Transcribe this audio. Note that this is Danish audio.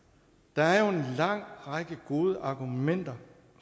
der er jo en lang række gode argumenter